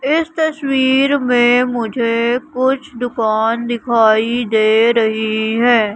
इस तस्वीर में मुझे कुछ दुकान दिखाई दे रही हैं।